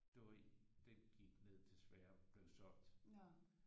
Du ved den gik ned desværre blev solgt